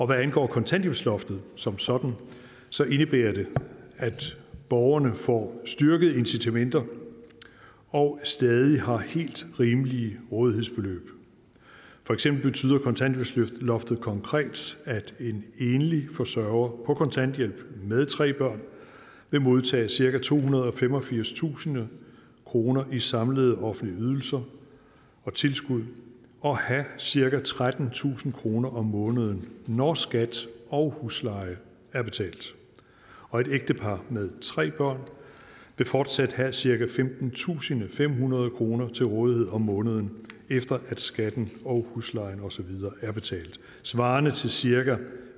hvad angår kontanthjælpsloftet som sådan indebærer det at borgerne får styrkede incitamenter og stadig har helt rimelige rådighedsbeløb for eksempel betyder kontanthjælpsloftet konkret at en enlig forsørger på kontanthjælp med tre børn vil modtage cirka tohundrede og femogfirstusind kroner i samlede offentlige ydelser og tilskud og have cirka trettentusind kroner om måneden når skat og husleje er betalt og et ægtepar med tre børn vil fortsat have cirka femtentusinde og femhundrede kroner til rådighed om måneden efter at skatten og huslejen og så videre er betalt svarende til cirka